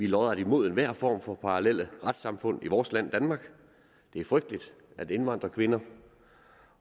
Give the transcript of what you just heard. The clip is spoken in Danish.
lodret imod enhver form for parallel retssamfund i vores land danmark det er frygteligt at indvandrerkvinder